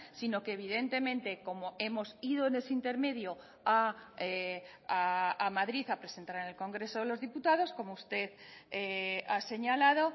sino que evidentemente como hemos ido en ese intermedio a madrid a presentar en el congreso de los diputados como usted ha señalado